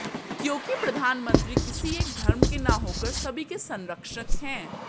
क्योंकि प्रधानमंत्री किसी एक धर्म के न होकर सभी के संरक्षक हैं